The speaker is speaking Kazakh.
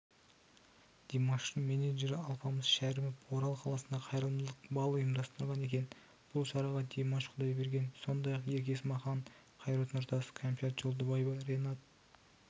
димаштыңменеджері алпамыс шәрімов орал қаласында қайырымдылық бал ұйымдастырған екен бұл шараға димаш құдайберген сондай-ақ ерке есмахан қайрат нұртас кәмшат жолдыбаева ренат